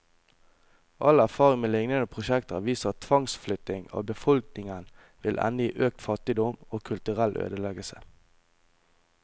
All erfaring med lignende prosjekter har vist at tvangsflytting av befolkningen vil ende i økt fattigdom, og kulturell ødeleggelse.